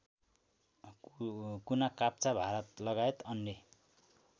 कुनाकाप्चा भारतलगायत अन्य